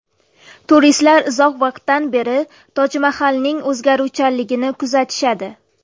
Turistlar uzoq vaqtdan beri Tojmahalning o‘zgaruvchanligini kuzatishadi.